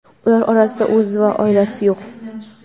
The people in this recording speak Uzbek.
Ular orasida o‘zi va oilasi yo‘q.